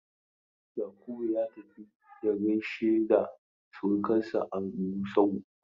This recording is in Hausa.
Yakubu ya tafi ya gaishe da surkansa a Gusau.